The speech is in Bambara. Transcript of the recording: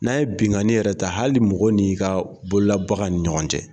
N'an ye binganni yɛrɛ ta hali mɔgɔ n'i ka bolola baganw ni ɲɔgɔn cɛ.